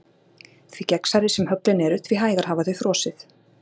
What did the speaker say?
Því gegnsærri sem höglin eru því hægar hafa þau frosið.